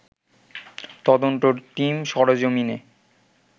তদন্ত টিম সরেজমিনে